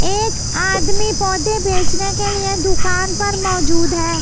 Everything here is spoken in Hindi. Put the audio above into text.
एक आदमी पौधे बैचने के लिए दुकान पर मौजूद है ।